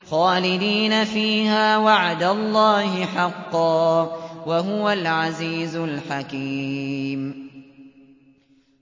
خَالِدِينَ فِيهَا ۖ وَعْدَ اللَّهِ حَقًّا ۚ وَهُوَ الْعَزِيزُ الْحَكِيمُ